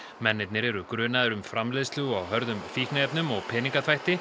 mennirnir eru grunaðir um framleiðslu á hörðum fíkniefnum og peningaþvætti